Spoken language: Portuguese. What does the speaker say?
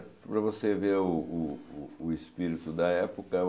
para você ver o o o espírito da época.